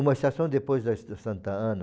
Uma estação depois da es da Santa Ana.